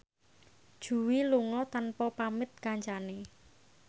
Jui lunga tanpa pamit kancane